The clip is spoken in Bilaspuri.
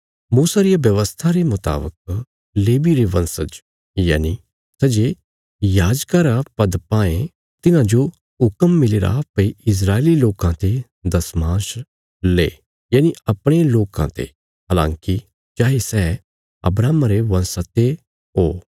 मूसा रिया व्यवस्था रे मुतावक लेवी रे वंशज यनि सै जे याजका रा पद पायें तिन्हांजो हुक्म मिलीरा भई इस्राएली लोकां ते दशमांश ले यनि अपणे लोकां ते हलाँकि चाये सै अब्राहमा रे वंशा ते ओ